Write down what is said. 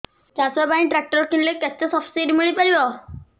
ଚାଷ ପାଇଁ ଟ୍ରାକ୍ଟର କିଣିଲେ କେତେ ସବ୍ସିଡି ମିଳିପାରିବ